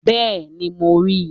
Bẹ́ẹ̀ni, mo ri i